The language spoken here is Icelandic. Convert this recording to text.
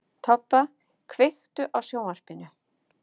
Tobba, kveiktu á sjónvarpinu.